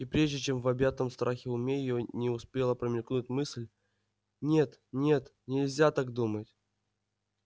и прежде чем в объятом страхом уме её успела промелькнуть мысль нет нет нельзя так думать